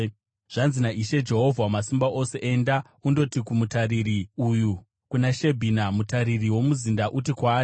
Zvanzi naIshe, Jehovha Wamasimba Ose: “Enda, undoti kumutariri uyu, kuna Shebhina, mutariri womuzinda, uti kwaari: